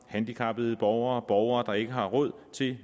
handicappede borgere om borgere der ikke har råd til